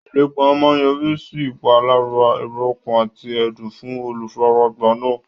Ìlépa máa yọrí sí ìpalára èrò ọkàn àti ẹ̀dùn fún olùfaragbá náà.